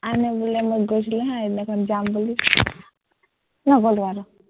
আনে বোলে মোক কৈছিলে হা, মই যাম বুলি, নগলো আৰু